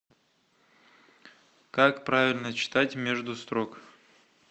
как правильно читать между строк